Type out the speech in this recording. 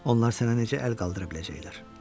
Onlar sənə necə əl qaldıra biləcəklər?